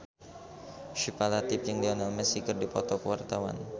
Syifa Latief jeung Lionel Messi keur dipoto ku wartawan